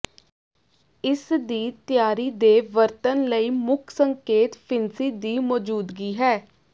ਇਸ ਦੀ ਤਿਆਰੀ ਦੇ ਵਰਤਣ ਲਈ ਮੁੱਖ ਸੰਕੇਤ ਫਿਣਸੀ ਦੀ ਮੌਜੂਦਗੀ ਹੈ